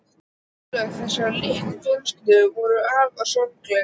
Örlög þessarar litlu fjölskyldu voru afar sorgleg.